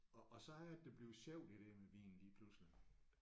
Og og så er det det bliver sjovt det der med vin lige pludselig